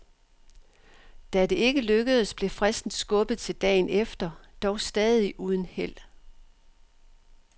Da det ikke lykkedes blev fristen skubbet til dagen efter, dog stadig uden held.